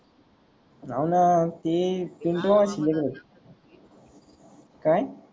हव न ते काय